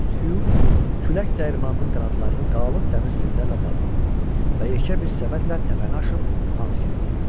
Böyük Hyu külək dəyirmanının qanadlarını qalın dəmir simlərlə bağladı və yekə bir səbətlə təpəni aşıb Hansgilə getdi.